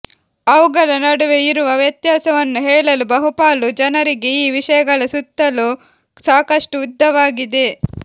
ಅವುಗಳ ನಡುವೆ ಇರುವ ವ್ಯತ್ಯಾಸವನ್ನು ಹೇಳಲು ಬಹುಪಾಲು ಜನರಿಗೆ ಈ ವಿಷಯಗಳ ಸುತ್ತಲೂ ಸಾಕಷ್ಟು ಉದ್ದವಾಗಿದೆ